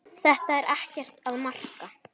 Þetta er ekkert að marka.